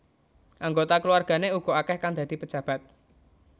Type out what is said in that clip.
Anggota keluargane uga akeh kang dadi pejabat